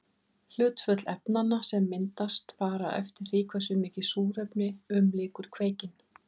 Hlutföll efnanna sem myndast fara eftir því hversu mikið súrefni umlykur kveikinn.